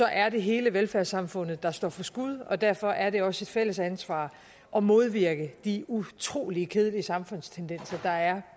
er det hele velfærdssamfundet der står for skud og derfor er det også et fælles ansvar at modvirke de utrolig kedelige samfundstendenser der er